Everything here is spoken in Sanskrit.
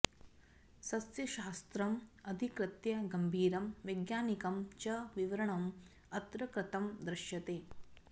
सस्यशास्त्रम् अधिकृत्य गंभीरम् वैज्ञानिकं च विवरणम् अत्र कृतं दृश्यते